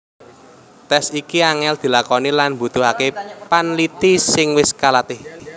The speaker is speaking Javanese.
Tes iki angel dilakoni lan mbutuhake panliti sing wis kalatih